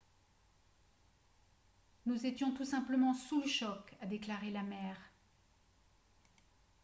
« nous étions tous simplement sous le choc » a déclaré la mère